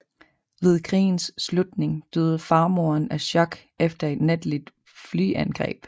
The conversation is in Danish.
Ved krigens slutning døde farmoren af chok efter et natligt flyangreb